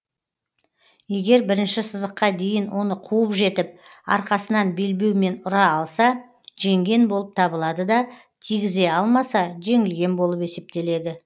егер бірінші сызыққа дейін оны қуып жетіп арқасынан белбеумен ұра алса жеңген болып табылады да тигізе алмаса жеңілген болып есептеледі